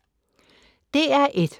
DR1